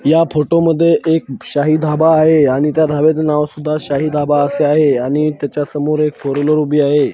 या फोटो मध्ये एक शाही धाबा आहे आणि त्या धाब्याचं नाव सुद्धा शाही धाबा असं आहे आणि त्याच्या समोर एक फोर व्हीलर उभी आहे.